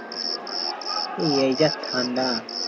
এই এই যা ঠাণ্ডা